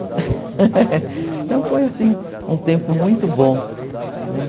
Então foi assim, um tempo muito bom, né?